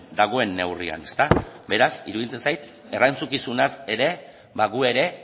dagoen neurrian beraz iruditzen zait erantzukizunaz ere gu ere